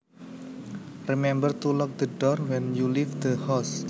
Remember to lock the door when you leave the house